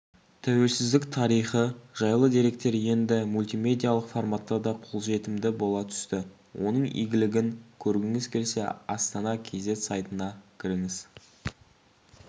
тәуелсіздік тарихы жайлы деректер енді мультимедиялық форматта да қолжетімді бола түсті оның игілігін көргіңіз келсе астана кз сайтына кіріңіз